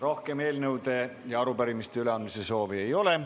Rohkem eelnõude ja arupärimiste üleandmise soovi ei ole.